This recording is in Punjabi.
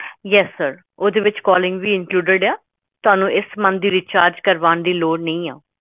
yes calling include month recharge